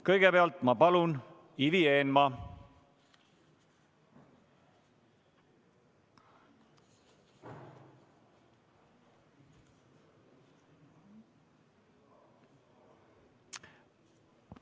Kõigepealt, palun, Ivi Eenmaa!